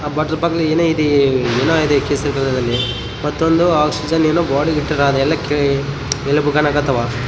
ನಮ್ಮ ಹುಡುಗರೆಲ್ಲ ಸ್ಕೆಲಿಟನ್ಗೆ ಕೈ ಎಳೆಯೊದು ಕಾಲ ಎಳೆಯೊದು ಎಲ್ಲಾ ಮಾಡ್ತಿದ್ರು ಒಳ್ಳೊಳ್ಳೆ ಫೋಟೋಸ ತೆಕ್ಕೊಂಡಿದ್ದೀವಿ--